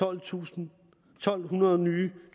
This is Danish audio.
tusind to hundrede nye